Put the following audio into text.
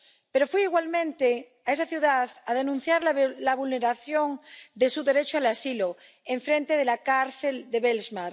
Pero fui igualmente a esa ciudad a denunciar la vulneración de su derecho al asilo, enfrente de la cárcel de Belmarsh.